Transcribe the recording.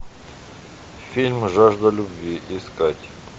фильм жажда любви искать